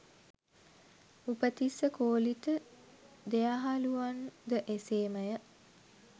උපතිස්ස, කෝලිත දෙයහළුවන් ද එසේමය.